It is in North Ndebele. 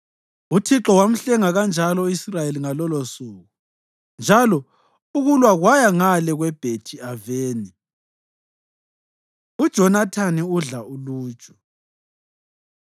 Uthixo wamhlenga kanjalo u-Israyeli ngalolosuku, njalo ukulwa kwaya ngale kweBhethi-Aveni. UJonathani Udla Uluju